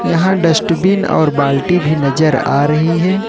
यहां डस्टबिन और बाल्टी भी नजर आ रही है।